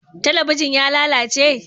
Talabijin ya lalace?